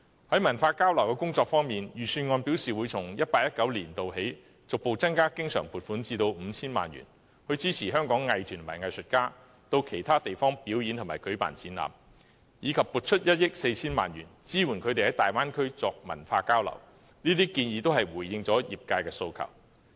在文化交流工作方面，預算案表示會從 2018-2019 年度起，逐步增加經常撥款至 5,000 萬元，以支持香港藝團和藝術家到其他地方表演和舉辦展覽，以及撥出1億 4,000 萬元，支援他們在粵港澳大灣區作文化交流，這些建議都回應了業界的訴求。